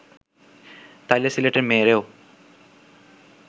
তাইলে সিলেটের মেয়েরেও